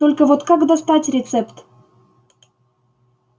только вот как достать рецепт